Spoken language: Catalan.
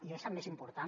i és el més important